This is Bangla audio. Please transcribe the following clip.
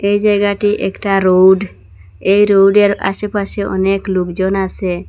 এই জায়গাটি একটা রোড এ রোডের আশেপাশে অনেক লোকজন আসে।